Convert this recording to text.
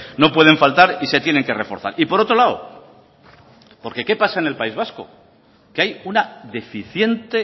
no pueden faltar y se tienen que reforzar por otro lado qué pasa en el país vasco que hay una deficiente